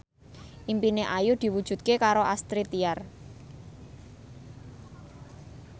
impine Ayu diwujudke karo Astrid Tiar